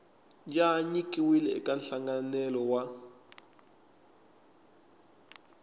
ya nyikiwile eka nhlanganelo wa